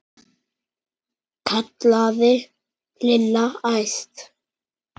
kallaði Lilla æst.